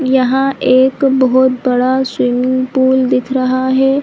यहाँ एक बहुत बड़ा स्विमिंग पूल दिख रहा है।